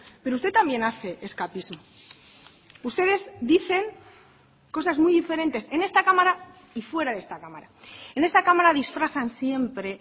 pero usted también hace escapismo ustedes dicen cosas muy diferentes en esta cámara y fuera de esta cámara en esta cámara disfrazan siempre